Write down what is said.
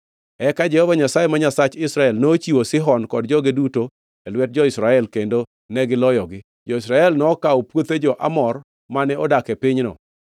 “Eka Jehova Nyasaye, ma Nyasach Israel, nochiwo Sihon kod joge duto e lwet jo-Israel, kendo negiloyogi. Jo-Israel nokawo puothe jo-Amor mane odak e pinyno,